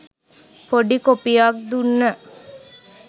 පොඩි කොපියක් දුන්න